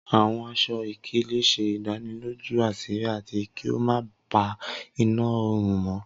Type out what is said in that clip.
Awọn aṣọ-ikele ṣe idaniloju aṣiri ati ki o ma pa ina orun mọ.